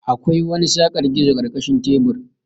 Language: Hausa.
Akwai wani saƙar gizo karkashin tebur.